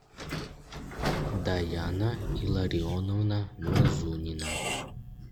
даяна илларионовна мазунина